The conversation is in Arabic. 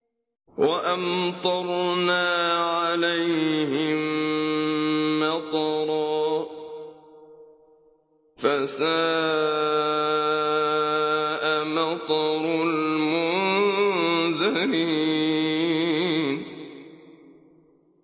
وَأَمْطَرْنَا عَلَيْهِم مَّطَرًا ۖ فَسَاءَ مَطَرُ الْمُنذَرِينَ